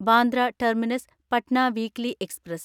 Bandra terminus Patna weekly express